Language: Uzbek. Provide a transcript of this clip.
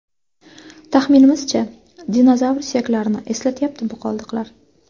Taxminimizcha, dinozavr suyaklarini eslatyapti bu qoldiqlar.